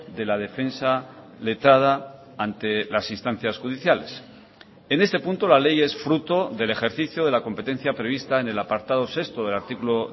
de la defensa letrada ante las instancias judiciales en este punto la ley es fruto del ejercicio de la competencia prevista en el apartado sexto del artículo